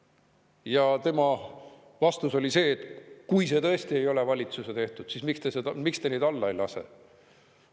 Tema oli see, et kui see tõesti ei ole valitsuse tehtud, siis miks te neid alla ei lase.